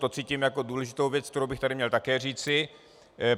To cítím jako důležitou věc, kterou bych tady měl také říci.